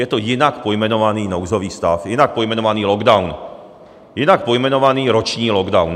Je to jinak pojmenovaný nouzový stav, jinak pojmenovaný lockdown, jinak pojmenovaný roční lockdown.